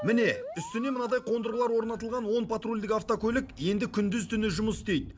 міне үстіне мынадай қондырғылар орнатылған он патрульдік автокөлік енді күндіз түні жұмыс істейді